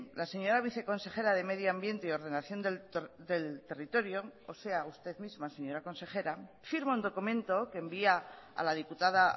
la señora viceconsejera de medio ambiente y ordenación del territorio o sea usted misma señora consejera firma un documento que envía a la diputada